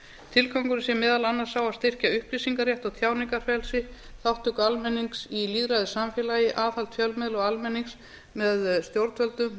tilgangurinn sé meðal annars sá að styrkja upplýsingarétt og tjáningarfrelsi þátttöku almennings í lýðræðissamfélagi aðhald fjölmiðla og almennings með stjórnvöldum